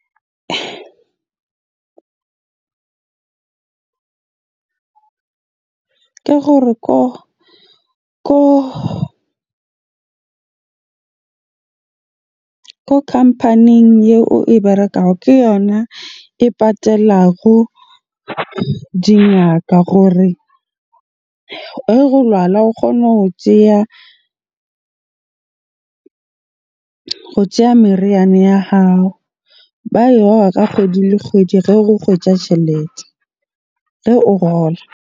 Ke gore ko company-ing eo e berekang ke yona e patalago dingaka hore lwala o kgona ho tjeya meriana ya hao. Ba ka kgwedi le kgwedi ge o kgwetja tjhelete, ge o kgola.